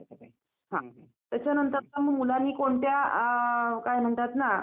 हो हो यात्राच म्हणतात वर्षातून एकदा भरणार म्हणजे त्याला यात्राच म्हणतात.